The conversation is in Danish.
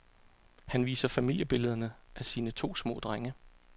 Han viser familiebillederne af sine to små drenge.